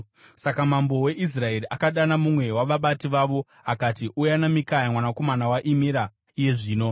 Saka mambo weIsraeri akadana mumwe wavabati vavo akati, “Uya naMikaya mwanakomana waImira iye zvino.”